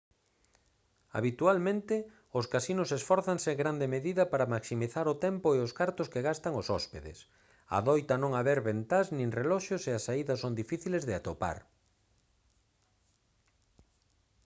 habitualmente os casinos esfórzanse en grande medida para maximizar o tempo e os cartos que gastan os hóspedes adoita non haber ventás nin reloxos e as saídas son difíciles de atopar